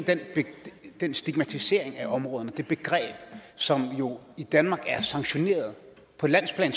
den stigmatisering af områderne det begreb som jo i danmark er sanktioneret på landsplan